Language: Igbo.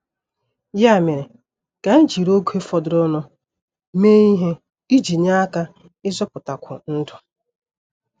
Ya mere ka anyị jiri oge fọdụrụnụ mee ihe iji nye aka ịzọpụtakwu ndụ.